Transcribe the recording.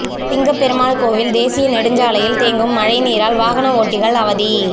சிங்கப்பெருமாள் கோவில் தேசிய நெடுஞ்சாலையில் தேங்கும் மழைநீரால் வாகன ஓட்டிகள் அவதி